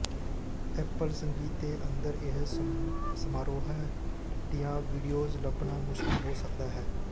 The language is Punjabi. ਐਪਲ ਸੰਗੀਤ ਦੇ ਅੰਦਰ ਇਹ ਸਮਾਰੋਹ ਦੀਆਂ ਵੀਡੀਓਜ਼ ਲੱਭਣਾ ਮੁਸ਼ਕਲ ਹੋ ਸਕਦਾ ਹੈ